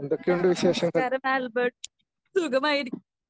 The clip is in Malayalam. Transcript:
നമസ്കാരം ആൽബർട്ട്. സുഖമായിരി